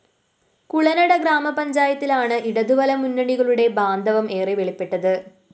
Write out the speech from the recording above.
കുളനട ഗ്രാമപഞ്ചായത്തിലാണ് ഇടതുവലതു മുന്നണികളുടെ ബാന്ധവം ഏറെ വെളിപ്പെട്ടത്